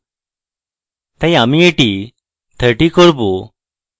তাই আমি এটি 30 করব